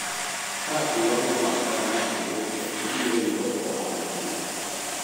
ka iwang'o makaa ma iuso ibiro yudo ohala maduong'